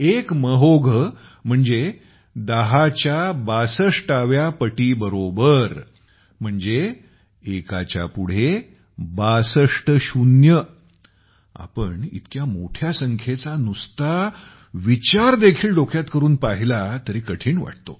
एक महोघ म्हणजे 10 ची पॉवर 62 च्या बरोबर म्हणजे एकाच्या पुढे 62 शून्य सिक्स्टी त्वो झेरो ।आपण इतक्या मोठ्या संख्येचा नुसता विचार देखील डोक्यात करून पाहिला तरी कठीण वाटतो